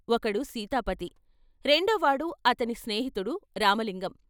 ఒకడు సీతాపతి, రెండో వాడు అతని స్నేహితుడు రామలింగం.